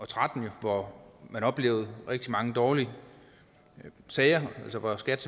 tretten hvor man oplevede rigtig mange dårlige sager altså hvor skat